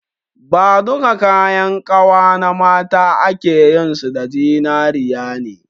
Na duka kayan kawa na mata akeyin su da zinariya ne